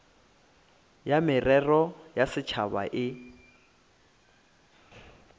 ya merero ya setšhaba e